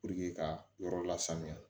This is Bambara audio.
ka yɔrɔ la sanuya